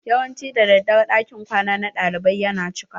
Yawanci daddare ɗakin kwana na ɗalibai ya na cika.